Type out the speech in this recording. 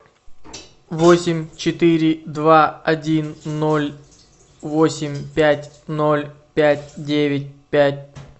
восемь четыре два один ноль восемь пять ноль пять девять пять